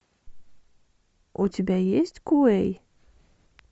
у тебя есть куэй